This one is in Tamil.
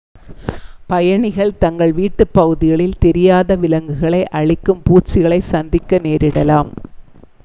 பயணிகள் தங்கள் வீட்டுப் பகுதிகளில் தெரியாத விலங்குகளை அழிக்கும் பூச்சிகளைச் சந்திக்க நேரிடலாம்